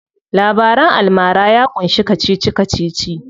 Labaran almara ya ƙunshi kacici kacici.